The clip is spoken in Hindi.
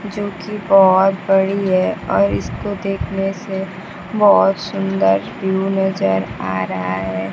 जो कि बहुत बड़ी है और इसको देखने से बहुत सुंदर व्यू नजर आ रहा है।